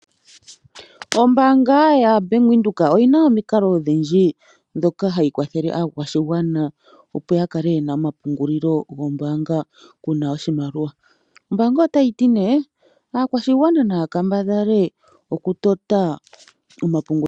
Ombaanga yaBank Windhoek oyina omikalo odhindji ndhoka hayi kwathele aakwashigwana opo ya kale yena omapungulilo gombaanga kuna oshimaliwa. Ombaanga otayi ti nee aakwashigwana naya kambadhale okutota omapungulilo.